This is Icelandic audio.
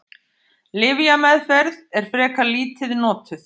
Lyfjameðferð er frekar lítið notuð.